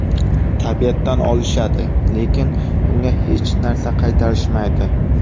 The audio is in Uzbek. Tabiatdan olishadi, lekin unga hech narsa qaytarishmaydi.